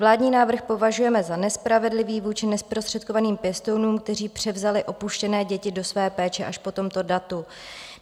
Vládní návrh považujeme za nespravedlivý vůči nezprostředkovaným pěstounům, kteří převzali opuštěné děti do své péče až po tomto datu.